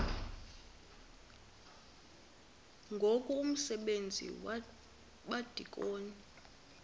ngoku umsebenzi wabadikoni